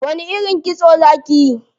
Wani irin kitso za kiyi?